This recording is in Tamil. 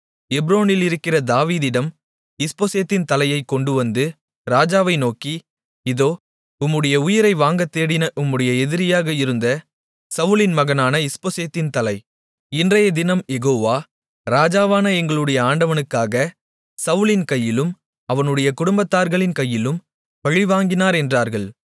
எப்ரோனிலிருக்கிற தாவீதிடம் இஸ்போசேத்தின் தலையைக்கொண்டுவந்து ராஜாவை நோக்கி இதோ உம்முடைய உயிரை வாங்கத்தேடின உம்முடைய எதிரியாக இருந்த சவுலின் மகனான இஸ்போசேத்தின் தலை இன்றையதினம் யெகோவா ராஜாவான எங்களுடைய ஆண்டவனுக்காகச் சவுலின் கையிலும் அவனுடைய குடும்பத்தார்களின் கையிலும் பழிவாங்கினார் என்றார்கள்